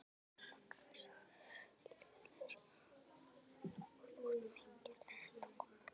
Magnús Hlynur: Og þú ert mikil hestakona?